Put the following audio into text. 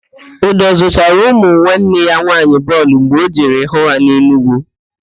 Udo zụtara ụmụ nwanne ya nwaanyị bọọlụ mgbe ọ jere hụ ha n'Enugwu